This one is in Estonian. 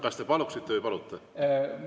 Kas te paluksite või palute?